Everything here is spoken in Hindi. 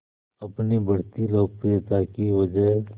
अपनी बढ़ती लोकप्रियता की वजह